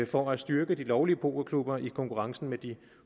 for at styrke de lovlige pokerklubber i konkurrencen med de